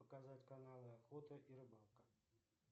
показать каналы охота и рыбалка